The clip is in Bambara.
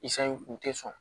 kun tɛ sɔn